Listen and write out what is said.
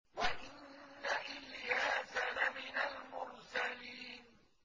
وَإِنَّ إِلْيَاسَ لَمِنَ الْمُرْسَلِينَ